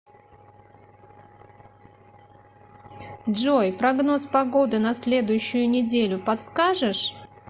джой прогноз погоды на следующую неделю подскажешь